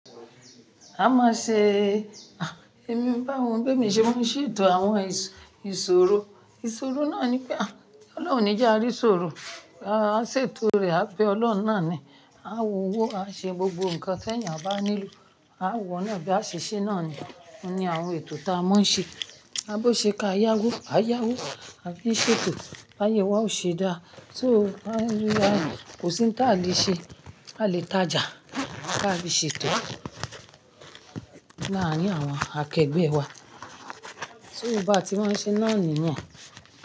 A máa n ṣe, ah! Èmi bá àwọn òbí mi ṣe wọ́n ṣètò àwọn ìsòro, ìsòro náà ni pé ah! Ọlọ́run ní jẹ́ a rí ṣòro, a ṣètò rẹ̀, a bẹ Ọlọ́run náà ni, a wa owo, a ṣe gbogbo nǹkan tí ènìyàn bá nílò. A wọ̀nà bí a ṣe ṣé náà ni. Ó ní àwọn ètò tí a máa ń ṣe. A bo ṣe ká yáwó, a yáwó, a fi ṣètò, báyé wa ò ṣe dáa. So a ń rí, a kò sí ní táa lè ṣe, a lè tajà, a lè ṣètò. Láàárín àwọn akẹgbẹ́ wa. So bá ti máa ń ṣe náà niyen.